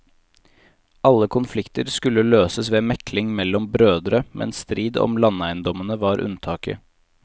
Alle konflikter skulle løses ved mekling mellom brødre, men strid om landeiendommer var unntaket.